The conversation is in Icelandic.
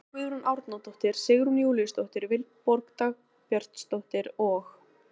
Olga Guðrún Árnadóttir, Sigrún Júlíusdóttir, Vilborg Dagbjartsdóttir og